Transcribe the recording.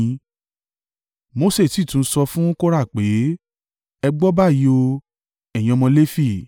Mose sì tún sọ fún Kora pé, “Ẹ gbọ́ báyìí o, ẹ̀yin ọmọ Lefi!